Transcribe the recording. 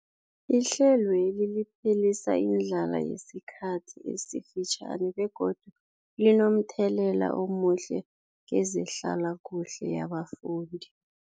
Ihlelweli liphelisa indlala yesikhathi esifitjhani begodu linomthelela omuhle kezehlalakuhle yabafundi.